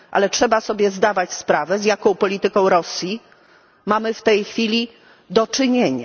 Trzeba jednak zdawać sobie sprawę, z jaką polityką Rosji mamy w tej chwili do czynienia.